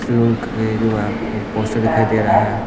Loan के जो आपको पोस्टर दिखाई दे रहा है।